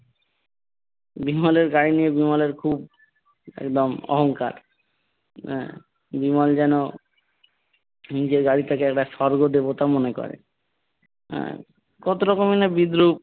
বিমলের গাড়ি নিয়ে বিমলের খুব একদম অহংকার আহ বিমল যেন নিজের গাড়িটাকে একটা স্বর্গ দেবতা মনে করে আহ কত রকমই না বিদ্রুপ